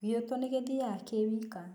Gĩutũ nĩ gĩthiaga kĩwika.